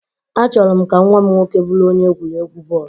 Achọrọ m ka nwa m nwoke bụrụ onye egwuregwu bọọlụ.